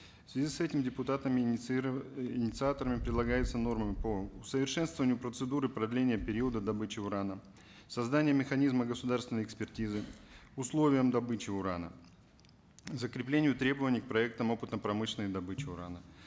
в связи с этим депутатами инициаторами предлагается нормами по усовершенствованию процедуры продления периода добычи урана создание механизма государственной экспертизы условием добычи урана закреплению требований к проектам опытно прмышленной добычи урана